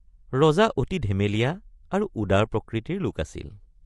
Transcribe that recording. ৰজা অতি ধেমেলীয়া আৰু উদাৰ প্ৰকৃতিৰ লোক আছিল।